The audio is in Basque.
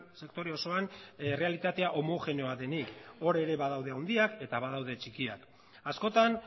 sektore osoan errealitatea homogeneoa denik hor ere badaude handiak eta badaude txikiak askotan